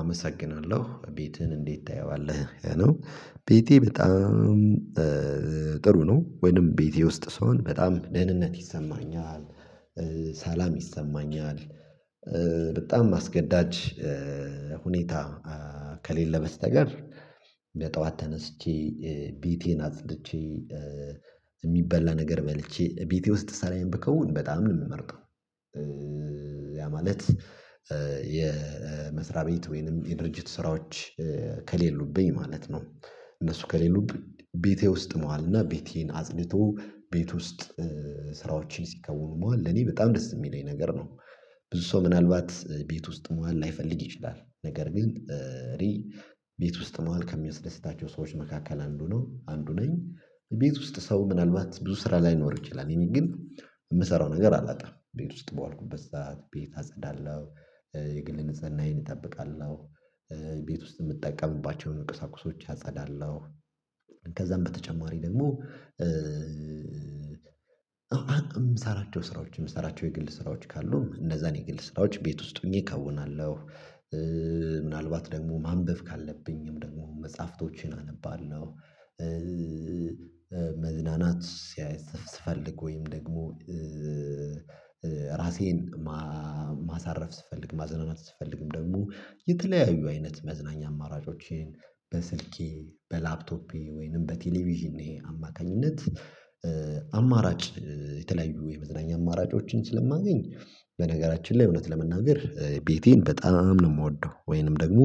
አመሰግናለሁ ቤትህን እንዴት ታየዋለህ? ይሄ ነው ቤቴ በጣም ጥሩ ነው። ወይንም ቤቴ ውስጥ ስሆን በጣም ደህንነት ይሰማኛል ሰላም ይሰማኛል። በጣም አስገዳጅ ሁኔታ ከሌለ በስተቀር በጠዋት ተነስቼ ቤቴን አጽድቼ የሚበላ ነገር በልቼ ቤቴ ውስጥ ስራዬን ብከውን በጣም ነው የምመርጠው። ያ ማለት የመስሪያ ቤት ወይንም የድርጅት ስራዎች ከሌሉብኝ ማለት ነው። እነሱ ከሌሉብኝ ቤቴ ውስጥ መዋልና ቤቴን አጽድቶ ቤት ውስጥ ስራዎችን ሲከውኑ መዋል ለኔ በጣም ደስ የሚለኝ ነገር ነው። ብዙ ሰው ምናልባት ቤት ውስጥ መዋን ላይፈልግ ይችላል ነገር ግን እኔ ቤት ውስጥ መሆን ከሚያስደስታቸው ሰዎች መካከል አንዱ ነው አንዱ ነኝ። ቤት ውስጥ ሰው ምናልባት ብዙ ስራ ላይኖር ይችላል የሚል ግን የምሰራው ነገር አላጣም ቤት ውስጥ በዋልኩበት ሰዓት ቤት አጸዳለሁ። የግል ንጽህናዬን እጠብቃለሁ። ቤት ውስጥ የምትጠቀምባቸውን ቁሳቁሶች አጸዳለሁ። ከዛም በተጨማሪ ደግሞ የምሰራቸው ስራዎች የምሰራቸው የግል ስራዎች ካሉ እነዛን የግል ስራዎች ቤት ውስጥ ሆኚ እከውናለሁ። ምናልባት ደግሞ ማንበብ ካለብኝም ደግሞ መጽሐፍቶቼን አነባለሁ። መዝናናት ስፈልግ ወይም ደግሞ ራሴን ማሳረፍ ስፈልግ ማዝናናት ስፈልግም ደግሞ የተለያዩ አይነት መዝናኛ አማራጮቼን በስልኬ በላፕቶፔ ወይንም በቴሌቪዥኔ አማካኝነት። አማራጭ የተለያዩ የመዝናኛ አማራጮችን ስለማገኝ በነገራችን ላይ እውነት ለመናገር ቤቴን በጣም ነው የምወደው። ወይንም ደግሞ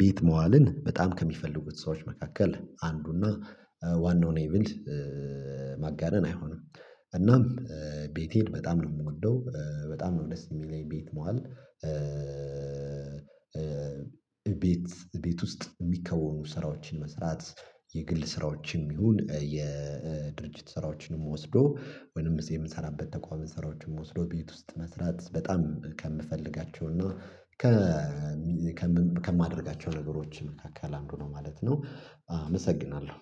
ቤት መዋልን በጣም ከሚፈልጉት ሰዎች መካከል አንዱና ዋናው ነኝ ብል ማጋነን አይሆንም። እናም ቤቴን በጣም ነው የምወደው በጣም ነው ደስ የሚለኝ ቤት መዋል። ቤት ቤት ውስጥ የሚከወኑ ስራዎችን መስራት የግል ስራዎችም ይሁን የድርጅት ስራዎችንም ወስዶ ወይንም እዚ የምንሰራበት ተቋም ስራዎችንም ወስዶ ቤት ውስጥ መስራት በጣም ከምፈልጋቸው እና ከማደርጋቸው ነገሮች መካከል አንዱ ነው ማለት ነው። አመሰግናለሁ